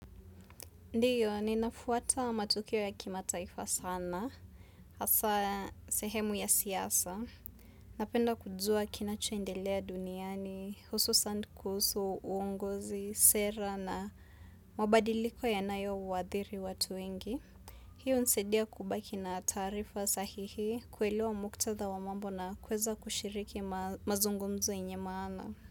Ndiyo, ninafuata matukio ya kimataifa sana, hasa sehemu ya siasa. Napenda kujua kinachoendelea duniani, hususan kuhusu, uongozi, sera na mabadiliko yanayo waadhiri watu wengi. Hiyo hunisaidia kubaki na taarifa sahihi kuelewa muktadha wa mambo na kuweza kushiriki mazungumzo yenye maana.